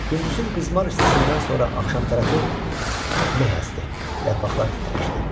Gündüzün qızmar istisindən sonra axşam tərəfi meh əsdi, yarpaqlar titrəşdi.